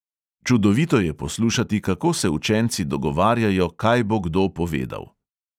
Čudovito je poslušati, kako se učenci dogovarjajo, kaj bo kdo povedal.